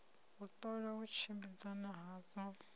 u ṱola u tshimbidzana hadzo